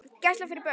Gæsla fyrir börn.